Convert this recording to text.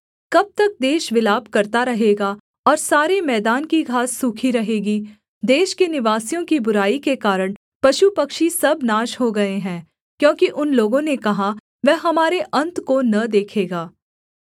कब तक देश विलाप करता रहेगा और सारे मैदान की घास सूखी रहेगी देश के निवासियों की बुराई के कारण पशुपक्षी सब नाश हो गए हैं क्योंकि उन लोगों ने कहा वह हमारे अन्त को न देखेगा